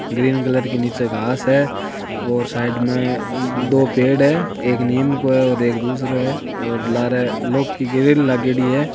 Green colour की नीचे घास है और साइड में दो पेड़ है एक नीम को है और एक दुसरो है और लारे लोह की ग्रील लागेडी है।